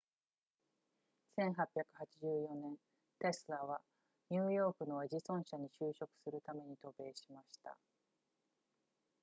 1884年テスラはニューヨークのエジソン社に就職するために渡米しました